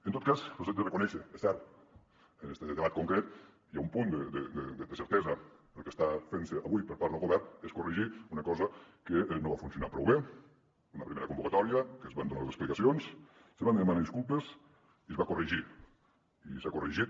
en tot cas els ho haig de reconèixer és cert en este debat concret hi ha un punt de certesa el que està fent se avui per part del govern és corregir una cosa que no va funcionar prou bé una primera convocatòria que se’n van donar les explicacions se van demanar disculpes i es va corregir i s’ha corregit